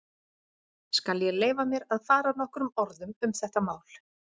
Skal ég leyfa mér að fara nokkrum orðum um þetta mál.